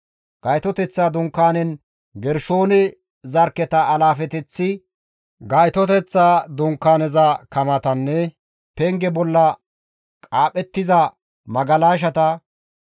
Gaytoteththa Dunkaanen Gershoone zarkketa alaafeteththi, Gaytoteththa Dunkaaneza kamatanne penge bolla qaaphettiza magalashata,